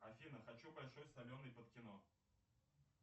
афина хочу большой соленый под кино